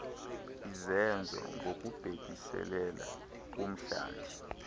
izenzo ngokubhekiselele kumhlathi